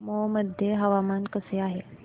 मौ मध्ये हवामान कसे आहे